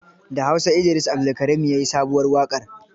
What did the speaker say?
Da Hausa Idris Abdulkarim ya yi sabuwar waƙar.